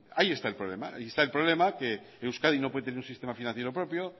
ahí está el problema ahí está el problema que euskadi no puede tener un sistema financiero propio